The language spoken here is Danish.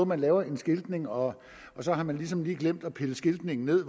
man laver en skiltning og så har man ligesom glemt at pille skiltningen ned